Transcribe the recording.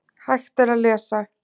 Hægt er að lesa